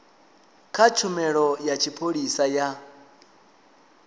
kha tshumelo ya tshipholisa ya